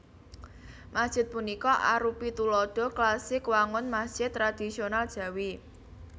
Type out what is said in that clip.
Masjid punika arupi tuladha klasik wangun masjid tradhisional Jawi